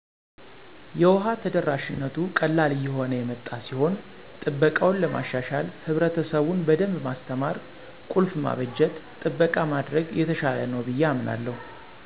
የውሃ ተደራሽነቱ ቀላል እየሆነ የመጣ ሲሆን ጥበቃውን ለማሻሻል ህብረትሰቡን በደንብ ማስተማር፣ ቁልፍ ማበጀት፣ ጥበቃ ማድረግ የተሻለ ነው ብየ አምናለሁ።